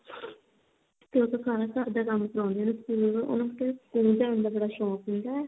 ਤੇ ਉਹ ਤੋਂ ਸਾਰਾ ਘਰਦਾ ਕੰਮ ਕਰਵਾਉਂਦੀ ਤੇ ਉਹਨੂੰ ਸਕੂਲ ਮਤਲਬ ਕਿ ਉਹਨੂੰ ਸਕੂਲ ਜਾਨ ਦਾ ਬੜਾ ਸ਼ੋਂਕ ਹੁੰਦਾ ਸੀ